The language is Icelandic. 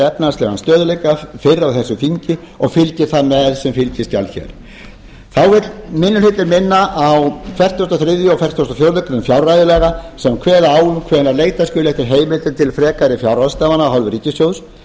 efnahagslegan stöðugleika fyrr á þessu þingi og fylgja þær með sem fylgiskjal hér þá vill minni hlutinn minna á fertugasta og þriðja og fertugasta og fjórðu grein fjárreiðulaga sem kveða á um hvenær leita skuli eftir heimildum til frekari fjárráðstafana af hálfu ríkissjóðs